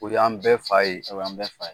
O y'an bɛɛ fa ye. O y'an bɛɛ fa ye.